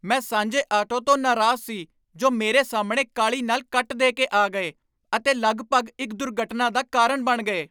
ਮੈਂ ਸਾਂਝੇ ਆਟੋ ਤੋਂ ਨਾਰਾਜ਼ ਸੀ ਜੋ ਮੇਰੇ ਸਾਹਮਣੇ ਕਾਹਲੀ ਨਾਲ ਕੱਟ ਦੇ ਕੇ ਆ ਗਏ ਅਤੇ ਲਗਭਗ ਇੱਕ ਦੁਰਘਟਨਾ ਦਾ ਕਾਰਨ ਬਣ ਗਏ।